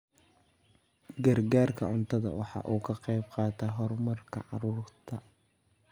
Gargaarka cuntadu waxa uu ka qayb qaataa horumarka carruurta.